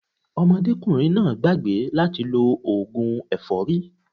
Ọmọdékùnrin náà gbàgbé láti lo ògùn ẹ̀fọ́rí